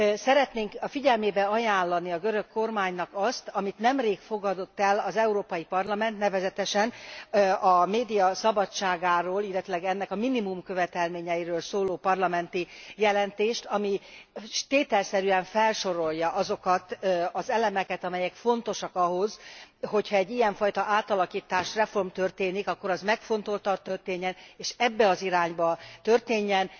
Szeretnénk a figyelmébe ajánlani a görög kormánynak azt, amit nemrég fogadott el az Európai Parlament, nevezetesen a média szabadságáról, illetve ennek a minimumkövetelményeiről szóló parlamenti jelentést, ami tételszerűen felsorolja azokat az elemeket, amelyek fontosak ahhoz, hogyha egy ilyenfajta átalakítás, reform történik, akkor az megfontoltan történjen, és ebbe az irányba történjen.